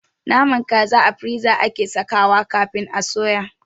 Naman kaza a firiza ake sawa kafin a suya